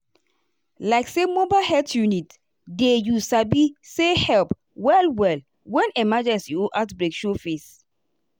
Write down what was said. like say mobile health unit dey you sabi sayhelp well-well when emergency or outbreak show face.